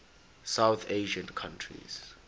south asian countries